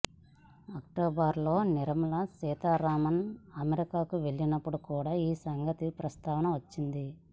అక్టోబర్లో నిర్మలా సీతారామన్ అమెరికాకు వెళ్లినప్పుడు కూడ ఈ సంగతి ప్రస్తావనకు వచ్చింది